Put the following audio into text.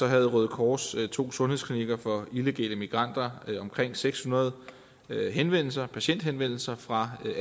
havde røde kors to sundhedsklinikker for illegale migranter omkring seks hundrede patienthenvendelser patienthenvendelser fra